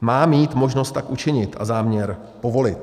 má mít možnost tak učinit a záměr povolit.